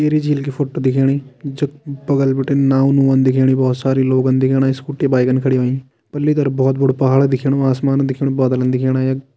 टिहरी झील की फोटो दिखेणी जख बगल बिटि नाव नुअन दिखेणी बहोत सारी लोगन दिखेणा स्कूटी बाइक खड़ी होईं पल्ली तरफ बहोत बड़ू पहाड़ दिखेणु आसमान दिखेणु बदल दिखेणा यख।